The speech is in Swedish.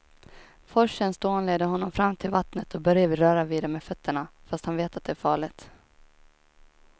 Forsens dån leder honom fram till vattnet och Börje vill röra vid det med fötterna, fast han vet att det är farligt.